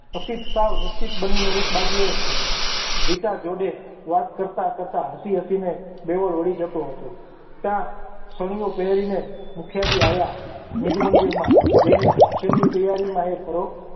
સાવનિશ્ચિત બનીને એક બાજુએ રિચા જોડે વાત કરતા કરતા હસી હસીને દેવળ વળી જતો હતો ત્યાં ચણીયો પહેરીને મુખિયાજી આવ્યા નિજ મંદિરમાં જઈને છેલ્લી તૈયારીમાં એ